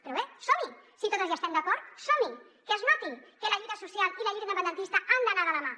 però bé som hi si totes hi estem d’acord som hi que es noti que la lluita social i la lluita independentista han d’anar de la mà